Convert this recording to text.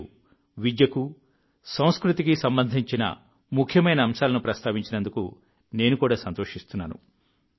మీరు విద్యకు సంస్కృతికి సంబంధించిన ముఖ్యమైన అంశాలను ప్రస్తావించినందుకు నేను కూడా సంతోషిస్తున్నాను